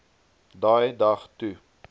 daai dag toe